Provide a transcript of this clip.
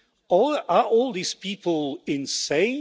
So are all these people insane?